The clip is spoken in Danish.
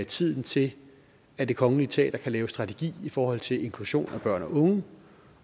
tiden til at det kongelige teater kan lave strategi i forhold til inklusion af børn og unge